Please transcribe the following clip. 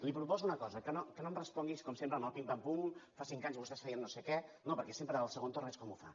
li proposo una cosa que no em respongui com sempre amb el pim pam pum fa cinc anys vostès feien no sé què no perquè sempre al segon torn és com ho fa